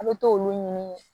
A bɛ t'olu ɲini